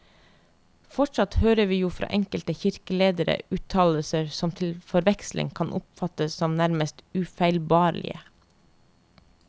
Fortsatt hører vi jo fra enkelte kirkeledere uttalelser som til forveksling kan oppfattes som nærmest ufeilbarlige.